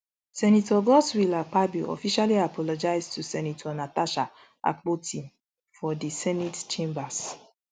senator godswill akpabio officially apologise to senator natasha akpoti for di senate chambers